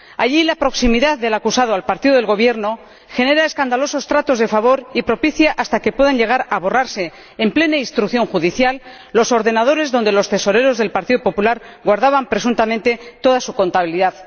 Allí, la proximidad del acusado al partido del Gobierno genera escandalosos tratos de favor y propicia incluso que puedan llegar a borrarse, en plena instrucción judicial, los archivos de los ordenadores en los que los tesoreros del Partido Popular guardaban presuntamente toda su contabilidad.